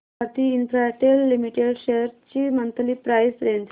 Bharti Infratel limited shares ची monthly price range